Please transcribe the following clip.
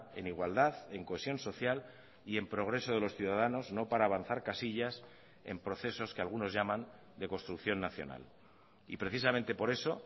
en igualdad en cohesión social y en progreso de los ciudadanos no para avanzar casillas en procesos que algunos llaman de construcción nacional y precisamente por eso